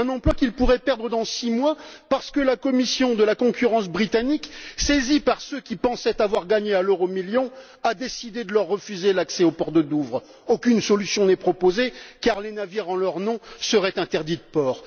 Un emploi qu'ils pourraient perdre dans six mois parce que la commission de la concurrence britannique, saisie par ceux qui pensaient avoir gagné à l'euromillion, a décidé de leur refuser l'accès au port de Douvres. Aucune solution n'est proposée car les navires en leur nom seraient interdits de port.